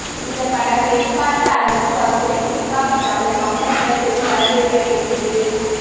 இந்த படம் எதிர்பார்த்த அளவுக்கு வசூலை குவிக்காவிட்டாலும் மக்களிடம் பெரும் வரவேற்பை பெற்றது